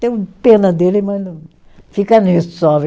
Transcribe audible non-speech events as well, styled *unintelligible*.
Tenho pena dele, mas não, fica nisso só. *unintelligible*